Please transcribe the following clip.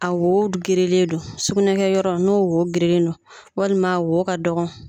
A wo gerenen don, sugunɛkɛyɔrɔ n'o wo gerenen don walima a wo ka dɔgɔ.